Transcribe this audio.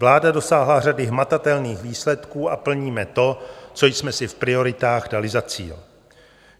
Vláda dosáhla řady hmatatelných výsledků a plníme to, co jsme si v prioritách dali za cíl.